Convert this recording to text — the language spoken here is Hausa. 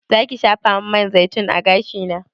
Zaki shafamin man zaitun a gashina?